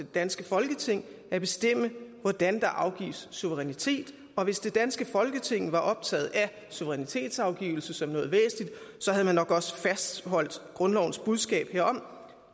danske folketing at bestemme hvordan der afgives suverænitet og hvis det danske folketing var optaget af suverænitetsafgivelse som noget væsentligt havde man nok også fastholdt grundlovens budskab herom